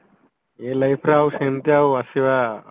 ଏ life ଟା ଆଉ ସେମତିଆ ଆଉ ଆସିବା